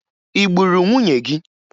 Ị gburu nwunye gị?